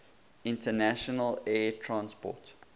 international air transport